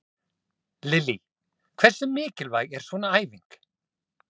Lillý: Hversu mikilvæg er svona æfing?